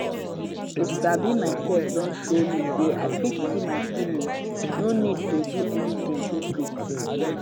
to sabi myself don show me say i fit see my feelings no need to do anything quickquick